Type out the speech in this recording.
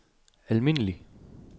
almindelig